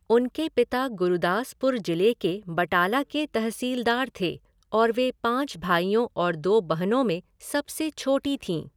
उनके पिता गुरदासपुर जिले के बटाला के तहसीलदार थे और वे पाँच भाइयों और दो बहनों में सबसे छोटी थीं।